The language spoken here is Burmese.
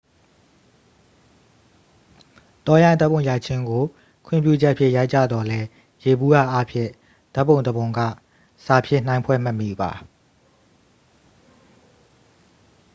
တောရိုင်းဓာတ်ပုံရိုက်ခြင်းကို ခွင့်ပြုချက်ဖြင့် ရိုက်ကြသော်လည်း ယေဘုယျ အားဖြင့် ဓာတ်ပုံတစ်ပုံက စာဖြင့် နှိုင်းဖွဲ့မမှီပါ